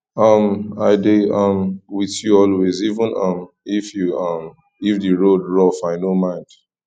um i dey um with you always even um if even um if the road rough i no mind